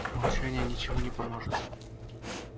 молчание ничему не поможет